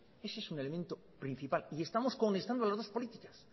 ese es un elemento principal y estamos cohonestando las dos políticas